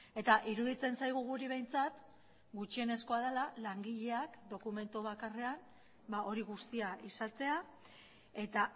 eta iruditzen zaigu guri behintzat gutxienezkoa dela langileak dokumentu bakarrean hori guztia izatea eta